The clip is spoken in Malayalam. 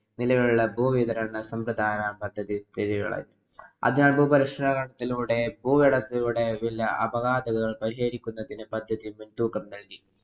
നിലവിലുള്ള ഭൂവിതരണ സമ്പ്രദായ പദ്ധതി പദ്ധതി മുന്‍‌തൂക്കം നല്‍കി.